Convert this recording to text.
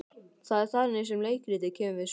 Það er þannig sem leikritið kemur við sögu.